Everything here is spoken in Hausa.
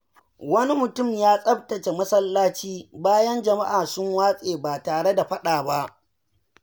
Wani mutum ya tsaftace masallaci bayan jama’a sun watse ba tare da faɗa ba.